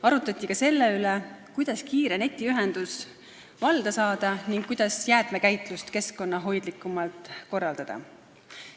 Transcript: Arutati ka selle üle, kuidas valda kiire netiühendus saada ning kuidas jäätmekäitlust keskkonnahoidlikumalt korraldada.